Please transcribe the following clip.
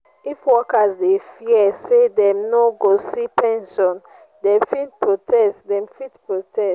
if workers dey fear say dem no go see pension dem fit protest dem fit protest